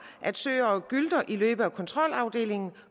at søer og gylte i løbe og kontrolafdelingen